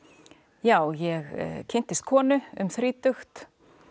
já ég kynntist konu um þrítugt